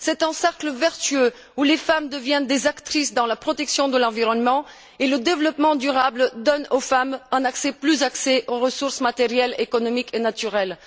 C'est un cercle vertueux où les femmes deviennent des actrices dans la protection de l'environnement et le développement durable donne aux femmes un meilleur accès aux ressources matérielles, économiques et naturelles.